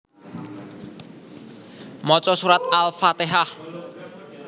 Maca surat Al fatehah